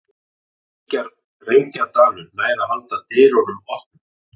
Reykjadalur nær að halda dyrunum opnum